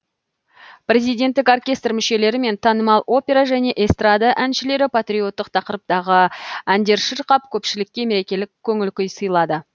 президенттік оркестр мүшелері мен танымал опера және эстрада әншілері патриоттық тақырыптағы әндер шырқап көпшілікке мерекелік көңіл күй сыйлады